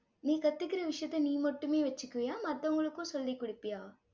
நீ கத்துக்கிற விஷயத்த நீ மட்டுமே வச்சுக்குவியா மத்தவங்களுக்கும் சொல்லிக் கொடுப்பியா?